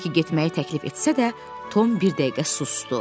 Bekki getməyi təklif etsə də, Tom bir dəqiqə susdu.